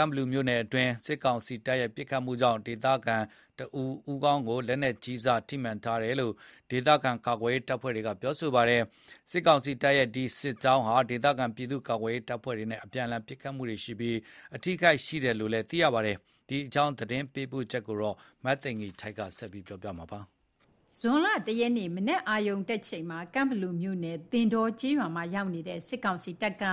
န့်ဘလူမြို့နယ်တွင်း စစ်ကောင်စီတပ်ရဲ့ ပစ်ခတ်မှုကြောင့် ဒေသခံတဦး ဦးခေါင်းကို လက်နက်ကြီးစ ထိမှန်ထားတယ်လို့ ဒေသကာကွယ်ရေးအဖွဲ့တွေက ပြောပါတယ်။ စစ်ကောင်စီတပ်ရဲ့ အဲဒီ စစ်ကြောင်းဟာ ဒေသခံပြည်သူ့ကာကွယ်ရေးအဖွဲ့တွေနဲ့ အပြန်အလှန်ပစ်ခတ်မှုရှိပြီး အထိအခိုက်ရှိတယ်လို့လည်း သိရပါတယ်။ ဒီအကြောင်း သတင်းပေးပို့ချက်ကို မသိဂီင်္ထိုက် ပြောပြပါမယ်။ ဇွန်လ ၁ ရက်နေ့ မနက်အာရုဏ်တတ်ချိန်မှာ ကန့်ဘလူမြို့နယ် သင်တောကျေးရွာမှာ ရောက်နေတဲ့ စစ်ကောင်စီတပ်က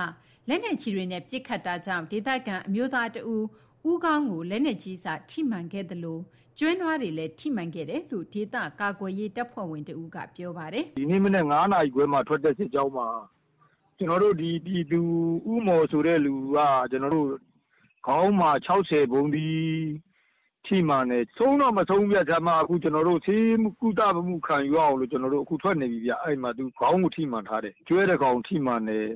လက်နက်ကြီးတွေနဲ့ပစ်ခတ်တာကြောင့် ဒေသခံ အမျိုးသားတစ်ဦး ဦးခေါင်းကို လက်ကြီးစထိမှန်ခဲ့သလို၊ ကျွဲ နွားတွေလည်း ထိမှန်ခဲ့တယ်လို့ ဒေသကာကွယ်ရေး တပ်ဖွဲ့ဝင်တစ်ဦးက ပြောပါတယ်။ “ဒီကနေ့မနက် ၅ နာရီခွဲမှာ ထွက်တဲ့ စစ်ကြောင်းမှာ ဒီပြည်သူ ဦးမော်ဆိုတဲ့သူက ကျွန်တော်တို့ ခေါင်းမှာ ၆၀ ဗုံးသီး ထိမှန်တယ်။ ဆုံးတော့ မဆုံးဘူးဗျ။ ဆေးကုသမှု ခံရအောင်လို့ ကျွန်တော်တို့အခု သွားနေပြီဗျ၊ ခေါင်းကိုမှန်ထားတာ။ ကျွဲတစ်ကောင်ထိတယ်၊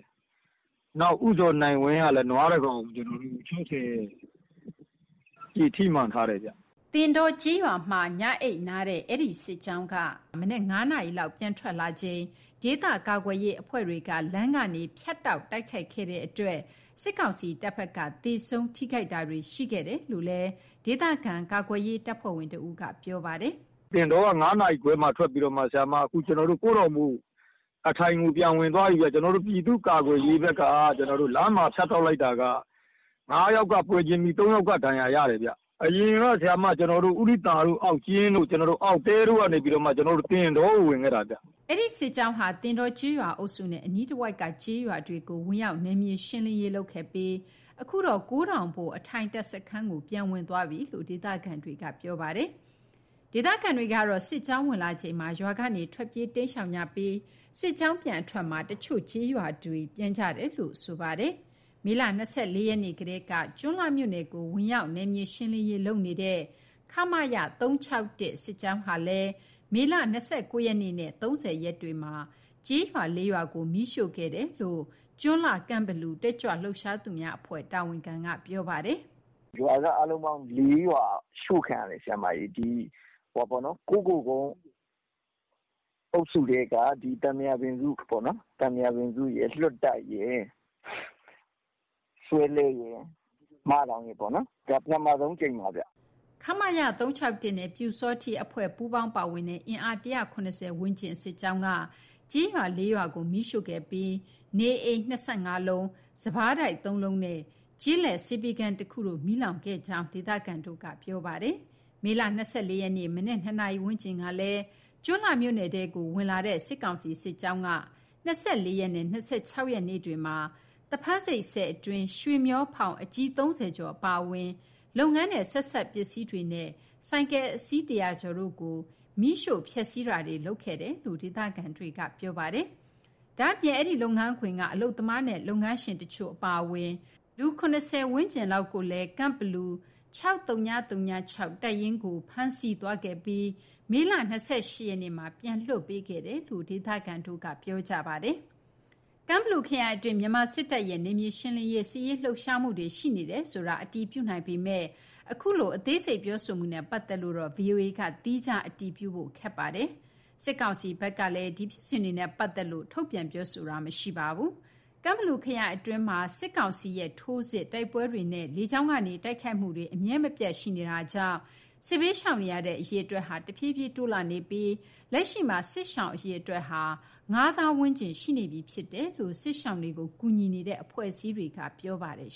နောက် နွား ၂ ကောင် ထိမှန်ထားတယ်ဗျ။” သင်တောကျေးရွာမှာ ညအိပ်နားတဲ့ အဲဒီစစ်ကြောင်းဟာ မနက် ၅ နာရီလောက် ပြန်ထွက်လာချိန် ဒေသကာကွယ်ရေး အဖွဲ့တွေက လမ်းကနေ ဖြတ်တောက် တိုက်ခိုက်ခဲ့တဲ့အတွက် စစ်ကောင်စီတပ်ဖက်က သေဆုံး၊ ထိခိုက်တာတွေ ရှိခဲ့တယ်လို့လည်း ဒေသခံကာကွယ်ရေး တပ်ဖွဲ့ဝင်တစ်ဦးက ပြောပါတယ်။ “သင်တောက ၅ နာရီခွဲလောက်က ထွက်ပြီးတော့မှ အခု ကိုးတောင်ဘို့ အထိုင်ကို ပြန်ဝင်သွားပြီဗျ။ ကျွန်တော်တို့ ပြည်သူ့ကာကွယ်ရေးဘက်က လမ်းမှာ ဖြတ်တောက်လိုက်တာက ၅ ယောက် ပွဲချင်းပြီး ၃ ယောက်က ဒဏ်ရာ ရတယ်ဗျ။ အရင်က ဥဒိသာကို အောက်ကျင်းတို့ အောက်တဲတို့ကနေမှာ သင်တောကို ဝင်ခဲ့တဲ့ စစ်ကြောင်းဗျ။” အဲဒီ စစ်ကြောင်းဟာ သင်တောကျေးရွာအုပ်စုနဲ့ အနီးတဝိုက်က ကျေးရွာတွေကို ဝင်ရောက် နယ်မြေရှင်းလင်းရေး လုပ်ခဲ့ပြီး၊ အခုတော့ ကိုးတောင်ဘို့ အထိုင်တပ်စခန်းကို ပြန်ဝင်သွားပြီလို့ ဒေသခံတွေက ပြောပါတယ်။ ဒေသခံတွေကတော့ စစ်ကြောင်းဝင်လာချိန်မှာ ရွာကနေ ထွက်ပြေးတိမ်းရှောင်ကြပြီး၊ စစ်ကြောင်းပြန်အထွက်မှာ တချို့ ကျေးရွာတွေပြန်ကြတယ်လို့ဆိုပါတယ်။ မေလ ၂၄ ရက်နေ့ကတည်းက ကျွန်းလှမြို့နယ်ကို ဝင်ရောက် နယ်မြေရှင်းလင်းရေး လုပ်နေတဲ့ ခမရ ၃၆၁ စစ်ကြောင်းဟာလည်း၊ မေလ ၂၉ ရက်နေ့နဲ့ ၃၀ ရက်တွေမှာ ကျေးရွာ ၄ ရွာကို မီးရှို့ခဲ့တယ်လို့ ကျွန်းလှ ကန့်ဘလူ တက်ကြွလှုပ်ရှားသူများအဖွဲ့ တာဝန်ခံက ပြောပါတယ်။ “ရွာက အားလုံးပေါင်း ၄ ရွာ ရှို့ခံရတယ်၊ ဒီ ကုက္ကိုလ်ကုန်း အုပ်စုထဲက သံပုရာပင်စုပေါ့နော်၊ သံပုရာပင်စုရယ်၊ လွတ်တိုက်ရယ်၊ ဆွဲလှဲရယ်၊ မဒေါင်ရယ်ပေါ့နော်။ ဒီရှို့ခံရတဲ့ရွာတွေက ပထမဆုံးအကြိမ်ပါဗျ။” ခမရ ၃၆၁ နဲ့ ပျူစောထီးအဖွဲ့ပူးပေါင်းပါဝင်တဲ့ အင်အား ၁၇၀ ဝန်းကျင် စစ်ကြောင်းက ကျေးရွာ ၄ ရွာကို မီးရှို့ခဲ့ပြီး နေအိမ် ၂၅ လုံး၊ စပါးတိုက် ၃ လုံးနဲ့ ကျေးလက် ဆေးပေးခန်းတစ်ခုတို့ မီးလောင်ခဲ့တယ်လို့ ဒေသခံတွေက ပြောပါတယ်။ မေလ ၂၄ ရက်နေ့ မနက် ၂ နာရီဝန်းကျင်ကလည်း ကျွန်းလှမြို့နယ်ထဲကို ဝင်လာတဲ့ စစ်ကောင်စီစစ်ကြောင်းက ၂၄ ရက်နဲ့ ၂၆ ရက်နေ့တွေမှာ သဖန်းဆိပ်ဆည်အတွင်းက ရွေမျှောဖောင် အကြီး ၃၀ ကျော် အပါအဝင် လုပ်ငန်းနဲ့ ဆက်စပ်ပစ္စည်းတွေနဲ့ ဆိုင်ကယ် အစီး ၁၀၀ ကျော်တို့ကို မီးရှို့ဖျက်ဆီးတာတွေ လုပ်ခဲ့တယ်လို့ ဒေသခံတွေက ပြောပါတယ်။ ဒါအပြင် အဲ့ဒီလုပ်ငန်းခွင်က အလုပ်သမားနဲ့ လုပ်ငန်းရှင်တချို့အပါအဝင် လူ ၇၀ ဝန်းကျင်လောက်ကိုလည်း ကန့်ဘလူ ၆၀၀၆ တပ်ရင်းသို့ ဖမ်းဆီးသွားခဲ့ပြီး မေလ ၂၈ ရက်နေ့မှာတော့ ပြန်လွတ်ပေးခဲ့တယ်လို့ ဒေသခံတွေက ပြောကြပါတယ်။ ကန့်ဘလူခရိုင်အတွင်း မြန်မာစစ်တပ်ရဲ့ နယ်မြေရှင်းလင်းရေး စစ်ရေးလှုပ်ရှားမှုတွေ ရှိနေတယ်ဆိုတာ အတည်ပြုနိုင်ပေမယ့်၊ အခုလို အသေးစိတ်ပြောဆိုမှုနဲ့ ပတ်သက်လို့တော့ ဗွီအိုအေက သီးခြား အတည်ပြုဖို့တော့ခက်ပါတယ်။ စစ်ကောင်စီဖက်ကလည်း ဒီဖြစ်စဉ်တွေနဲ့ပတ်သက်လို့ ထုတ်ပြန်ပြောဆိုတာ မရှိပါဘူး။ ကန့်ဘလူ ခရိုင်အတွင်းမှာ စစ်ကောင်စီရဲ့ ထိုးစစ်၊ တိုက်ပွဲတွေနဲ့ လေကြောင်းကနေ တိုက်ခိုက်မှုတွေ အမြဲမပြတ်ရှိနေတာကြောင့် စစ်ဘေးရှောင်နေရတဲ့ အရေအတွက်ဟာ တဖြေးဖြေး တိုးလာနေပြီး လက်ရှိမှာ စစ်ရှောင်အရေအတွက်ဟာ ၅၀,၀၀၀ ဝန်းကျင် ရှိနေပြီဖြစ်တယ်လို့ စစ်ရှောင်တွေကိုကူညီနေတဲ့ အဖွဲ့အစည်းတွေကပြောပါတယ်